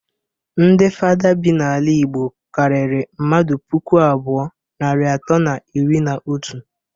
Ndi fada bi n'ala igbo karịrị mmadu puku abụọ, narị atọ na iri na otu.